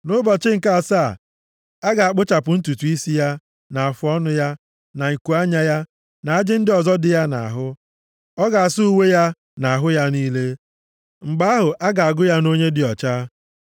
Nʼụbọchị nke asaa, ọ ga-akpụchapụ ntutu isi ya, na afụọnụ ya, na ikuanya ya, na ajị ndị ọzọ dị ya nʼahụ. Ọ ga-asa uwe ya na ahụ ya niile. Mgbe ahụ, a ga-agụ ya nʼonye dị ọcha.